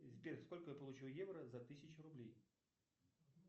сбер сколько я получу евро за тысячу рублей